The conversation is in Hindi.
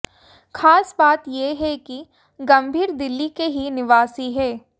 खास बात यह है कि गंभीर दिल्ली के ही निवासी हैं